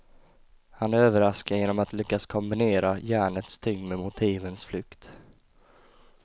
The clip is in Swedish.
Han överraskar genom att lyckas kombinera järnets tyngd med motivens flykt.